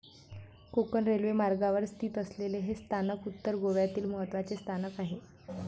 Konkan railway मार्गावर स्थित असलेले हे स्थानक उत्तर गोव्यातील महत्वाचे स्थानक आहे.